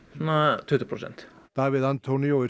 svona tuttugu prósent Davíð antonio er